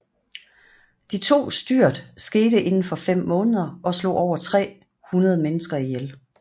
De to styrt skete indenfor 5 måneder og slog over 300 mennesker ihjel